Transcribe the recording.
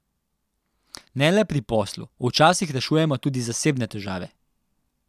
Ne le pri poslu, včasih rešujemo tudi zasebne težave.